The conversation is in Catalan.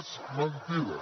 és mentida